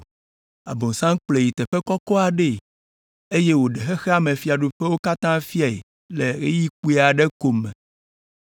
Abosam kplɔe yi teƒe kɔkɔ aɖee, eye wòɖe xexea me fiaɖuƒewo katã fiae le ɣeyiɣi kpui aɖe ko me,